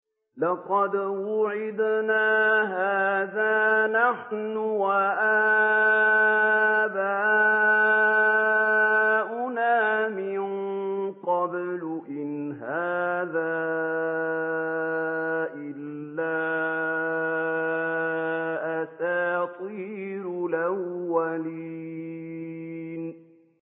لَقَدْ وُعِدْنَا هَٰذَا نَحْنُ وَآبَاؤُنَا مِن قَبْلُ إِنْ هَٰذَا إِلَّا أَسَاطِيرُ الْأَوَّلِينَ